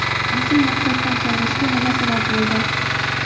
Asl maqsaddan chalg‘ishga nima sabab bo‘ldi?